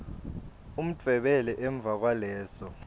udvwebele emva kwaleso